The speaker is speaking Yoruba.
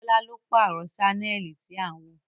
Bọ́lá ló pààrọ̀ sánẹ́ẹ̀lì tí à ń wò